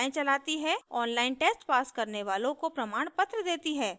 online test pass करने वालों को प्रमाणपत्र देती है